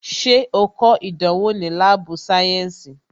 Ṣé o kọ ìdánwò ni láàbù sayensi?